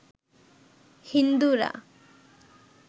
হিন্দুরা